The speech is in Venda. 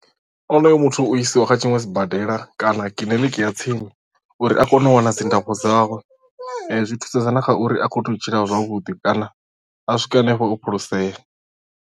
Onoyo muthu u isiwa kha tshiṅwe sibadela kana kiḽiniki ya tsini uri a kone u wana dzi ndafho dzawe zwi thusedza na kha uri a kone u tshila zwavhuḓi kana a swike hanefho o phulusea.